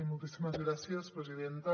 moltíssimes gràcies presidenta